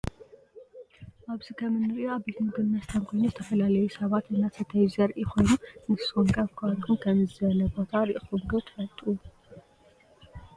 አብዚ ከም እንሪኦ አብ ቤት ምግብን መስተን ኮይኑ ዝተፈላለዩ ሰባት እናሰተዩ ዘሪኢ ኮይኑ ንስኩም ከ አብ ከባቢኩም ከመዚ ዝበለ ቦታ ሪኢኩም ዶ ትፈልጡ?